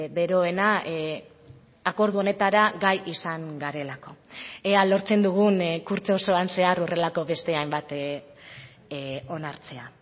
beroena akordio honetara gai izan garelako ea lortzen dugun kurtso osoan zehar horrelako beste hainbat onartzea